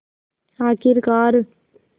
आख़िरकार